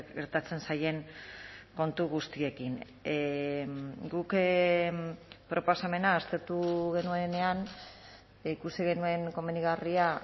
gertatzen zaien kontu guztiekin guk proposamena aztertu genuenean ikusi genuen komenigarria